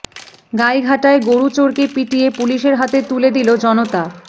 গাইঘাটায় গরু চোরকে পিটিয়ে পুলিশের হাতে তুলে দিল জনতা